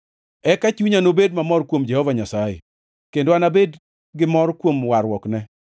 Eka chunya nobed mamor kuom Jehova Nyasaye kendo anabed gimor kuom warruokne.